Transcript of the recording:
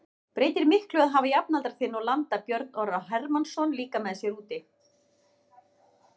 Breytir miklu að hafa jafnaldra þinn og landa Björn Orra Hermannsson líka með sér úti?